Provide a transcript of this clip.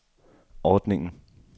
ordningen